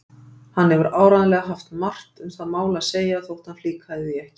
Hann hefur áreiðanlega haft margt um það mál að segja þótt hann flíkaði því ekki.